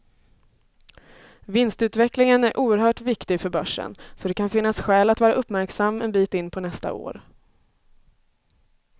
Vinstutvecklingen är oerhört viktig för börsen, så det kan finnas skäl att vara uppmärksam en bit in på nästa år.